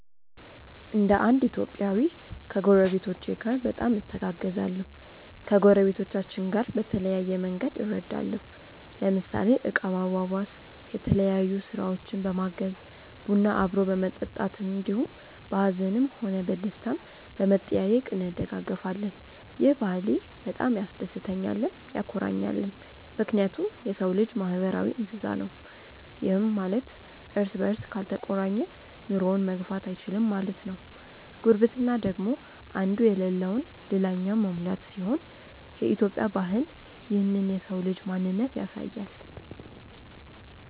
እንደ እንድ ኢትዮጵያዊ ከጐረቤቶቼ ጋር በጣም እተጋገዛለሁ። ከጐረቤቶቻችን በተለያየ መንግድ እረዳለሁ ለምሳሌ እቃ ማዋዋስ፣ የተለያዮ ስራውችን በማገዝ፣ ቡና አብሮ በመጠጣት እንዲሁም በሀዝንም ሆነ በደስታም በመጠያዬቅ እንደጋገፋለን። ይህ ባህሌ በጣም ያስደስተኛልም ያኮራኛልም ምክንያቱም የሰው ልጅ ማህበራዊ እንስሳ ነው ይህም ማለት እርስ በርስ ካልተቆራኘ ኑሮውን መግፋት እይችልም ማለት ነው። ጉርብትና ደግሞ እንዱ የለለውን ልላኛው መሙላት ሲሆን የኢትዮጵያ ባህል ይህንን የሰው ልጅ ማንነት ያሳያል።